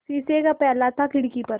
शीशे का प्याला था खिड़की पर